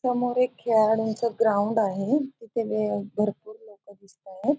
समोर एक खेळाडूंच ग्राउंड आहे. तिथे भरपूर लोकं दिसतायेत.